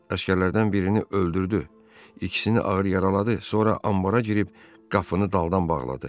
Əsgərlərdən birini öldürdü, ikisini ağır yaraladı, sonra anbara girib qapını daldan bağladı.